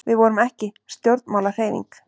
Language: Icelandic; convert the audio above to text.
Við vorum ekki stjórnmálahreyfing.